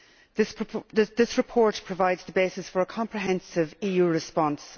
This report provides the basis for a comprehensive EU response.